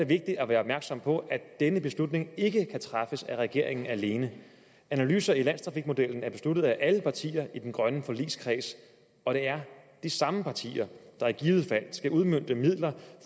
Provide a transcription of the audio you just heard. vigtigt at være opmærksom på at denne beslutning ikke kan træffes af regeringen alene analyserne i landstrafikmodellen er besluttet af alle partier i den grønne forligskreds og det er de samme partier der i givet fald skal udmønte midler